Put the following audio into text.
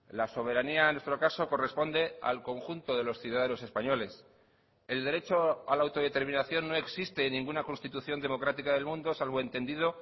la soberanía en nuestro caso corresponde al conjunto de los ciudadanos españoles el derecho a la autodeterminación no existe en ninguna constitución democrática del mundo salvo entendido